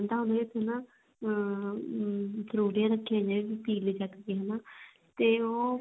ਹੁੰਦਾ ਵੀ ਤੂੰ ਨਾ ਅਮ ਫਰੂਟੀਆਂ ਰੱਖੀਆਂ ਹੋਈਆਂ ਵੀ ਪੀ ਲੀ ਚੱਕ ਕੇ ਵੀ ਹਨਾ ਤੇ ਉਹ